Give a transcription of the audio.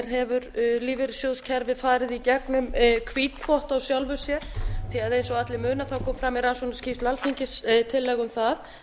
hefur lífeyrissjóðakerfið farið í gegnum hvítþvott á sjálfu sér því að eins og allir muna kom fram í rannsóknarskýrslu alþingis tillaga um það